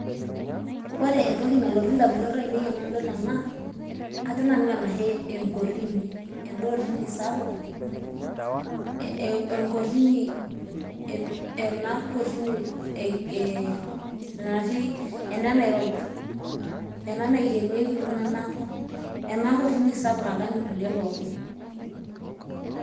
ore entoki nalotu idamunot aainei, enadol ena, ajo nanu enae enkorini, eda orini sapuk, enkotini ena kotini natii ena e nairobi ena naikenekie iltunganka ena esapuk naikenieki pookin.